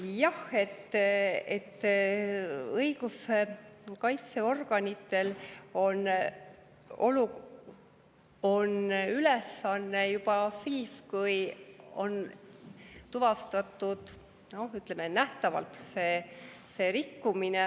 Jah, õiguskaitseorganitel on see ülesanne siis, kui on juba tuvastatud, ütleme, nähtavalt see rikkumine.